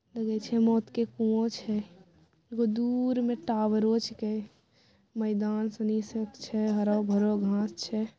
लगे छै मौत के कुवो छै एगो दूर में टावरो छींके मैदान सनी से के छै हरो भरो घास छै।